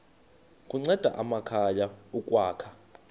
kunceda amakhaya ukwakha